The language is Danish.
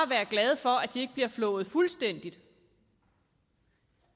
være glade for at de ikke bliver flået fuldstændigt